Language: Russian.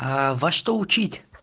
аа во что учить